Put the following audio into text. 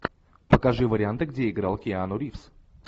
покажи варианты где играл киану ривз